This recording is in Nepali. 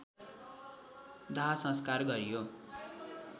दाहसंस्कार गरियो